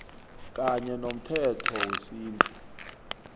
kanye nomthetho wesintu